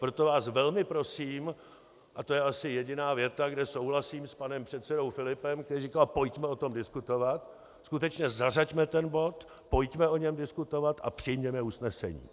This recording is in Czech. Proto vás velmi prosím, a to je asi jediná věta, kde souhlasím s panem předsedou Filipem, který říkal: pojďme o tom diskutovat, skutečně zařaďme ten bod, pojďme o něm diskutovat a přijměme usnesení.